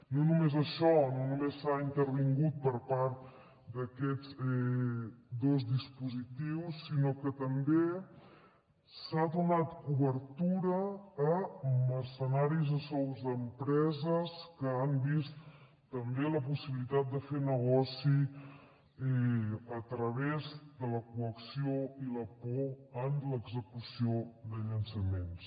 no només això no només s’ha intervingut per part d’aquests dos dispositius sinó que també s’ha donat cobertura a mercenaris a sous d’empreses que han vist també la possibilitat de fer negoci a través de la coacció i la por en l’execució de llançaments